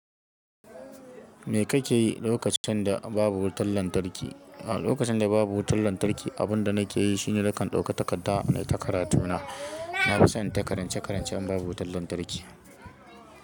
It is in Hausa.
Me kake yi lokacin da babu wutar lantarki? Lokacin da babu wutar lantarki, abin da nake yi shine nakan ɗauka takarda nai ta karatu na. Na fi son in ta karance-karance in babu wutar lantarki.